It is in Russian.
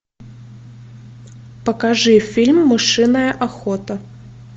покажи фильм мышиная охота